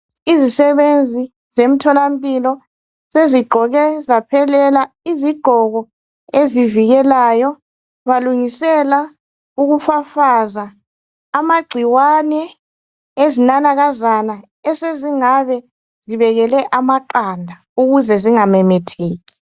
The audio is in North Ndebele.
Izisebenzi zemtholampilo sezigqoke zaphelela izigqoko ezivikelayo. Balungisela ukufafaza amagcikwane ezinanakazana esezingabe zibekele amaqanda ukuze zingamemetheki.